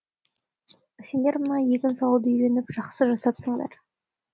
сендер мына егін салуды үйреніп жақсы жасапсыңдар